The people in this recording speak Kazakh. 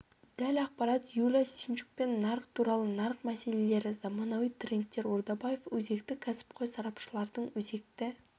дәл ақпарат юлия синчукпен нарық туралы нарық мәселелері заманауи трендтер ордабаев өзекті кәсіпқой сарапшылардың өзекті